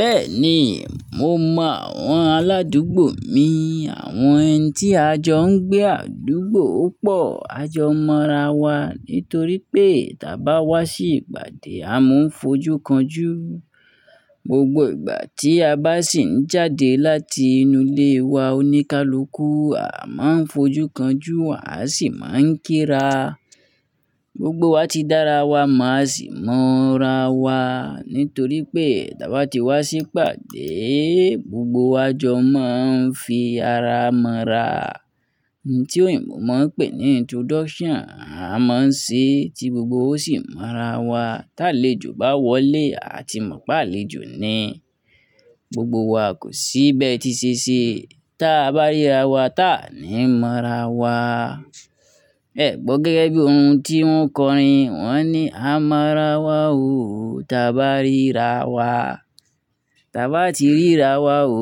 Bẹ́ẹ̀ni, mo mọ àwọn aládùúgbò mi, àwọn ẹni tí a jọ ń gbé àdúgbò pọ̀. A jọ mọ ra wa nítorí pé tí a bá wá sí ìpàdé a máa ń fojú kan jú. Gbogbo ìgbà tí a bá sì ń jáde láti inú ilé wa oníkálukú, a máa ń fojú kan jú, a sì máa ń kí ra. Gbogbo wa ti dára wa, máa sì mọ́ra wa nítorí pé tí a bá ti wá sí ìpàdé, gbogbo wa jọ máa ń fi ara mọ́ra. Ohun tí òyìnbó máa ń pè ní introduction a máa ń ṣe, tí gbogbo ó sì mọ́ra wa. Táléjò bá wọlé, a ti mọ̀ pé àlejò ni. Gbogbo wa kò sí be ti se se tí a bá ríra wa, ta ni mọ́ra wa. Ẹ kọ gẹ́gẹ́ bí ohun tí wọ́n kọ́ rin. Wọ́n ní a mọ́ra wa o tí a bá rí ra wa. Tí a bá ti rí ra wa o,